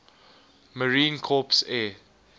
marine corps air